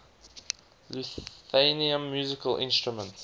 lithuanian musical instruments